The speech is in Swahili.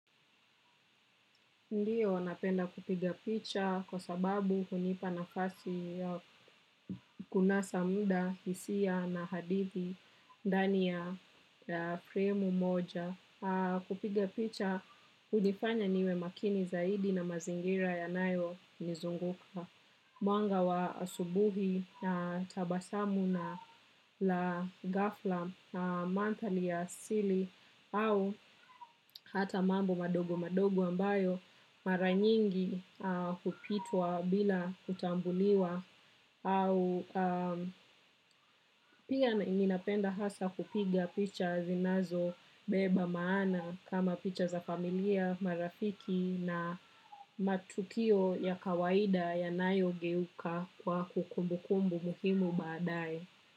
Ndiyo, napenda kupiga picha kwa sababu hunipa na fasi ya kunasa mda hisia na hadithi ndani ya fremu moja. Kupiga picha, unifanya niwe makini zaidi na mazingira ya nayo nizunguka. Mwanga wa asubuhi, tabasamu na la gafla, mantali ya asili au hata mambo madogo madogo ambayo maranyingi kupitwa bila utambuliwa. Au pia inapenda hasa kupiga picha zinazo beba maana. Kama picha za familia, marafiki na matukio ya kawaida ya nayo geuka kwa kukumbu kumbu muhimu baadae.